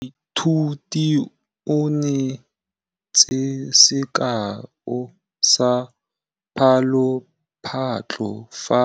Moithuti o neetse sekaô sa palophatlo fa